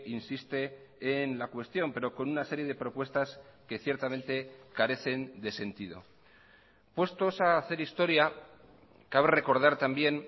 insiste en la cuestión pero con una serie de propuestas que ciertamente carecen de sentido puestos a hacer historia cabe recordar también